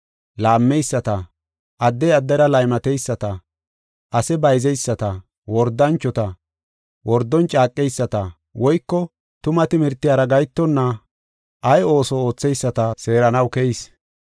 laammeyisata, addey addera laymateyisata, ase bayzeyisata, wordanchota, wordon caaqeyisata, woyko tuma timirtiyara gahetonna ay ooso ootheyisata seeranaw keyis.